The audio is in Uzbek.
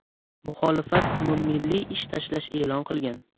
Muxolifat umummilliy ish tashlash e’lon qilgan.